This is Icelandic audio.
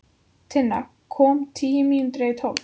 Tinna kom tíu mínútur yfir tólf.